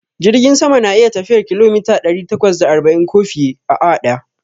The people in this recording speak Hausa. Jirgin sama na iya tafiyar kilomita ɗari takwas da arba'in ko fiye, a awa daya